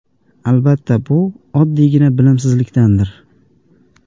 Albatta bu oddiygina bilimsizlikdandir.